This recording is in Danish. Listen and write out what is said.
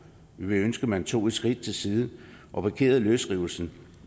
vi vil ønske at man tog et skridt til siden og parkerede løsrivelsen